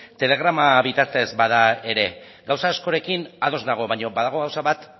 telegrama bitartez bada ere gauza askorekin ados nago baina badago gauza bat